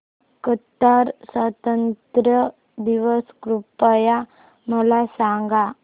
Qatar स्वातंत्र्य दिवस कृपया मला सांगा